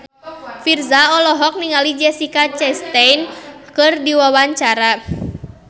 Virzha olohok ningali Jessica Chastain keur diwawancara